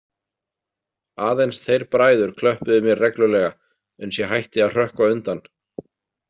Aðeins þeir bræður klöppuðu mér reglulega uns ég hætti að hrökkva undan.